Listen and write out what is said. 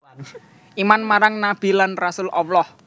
Iman marang nabi lan rasul Allah